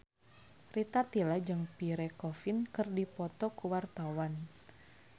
Rita Tila jeung Pierre Coffin keur dipoto ku wartawan